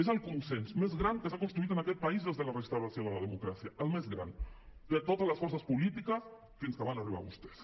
és el consens més gran que s’ha construït en aquest país des de la restauració de la democràcia el més gran de totes les forces polítiques fins que van arribar vostès